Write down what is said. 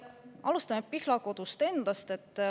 Alustame Pihlakodust endast.